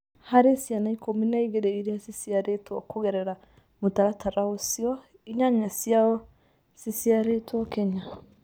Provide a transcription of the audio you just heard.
Varĩ ciana ikumi na igĩri iria ciciarĩtwo kũgerera mũtaratara ũcio, inyanya ciacio ciciarĩtwo Kenya.